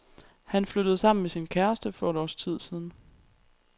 Han flyttede sammen med sin kæreste for et års tid siden.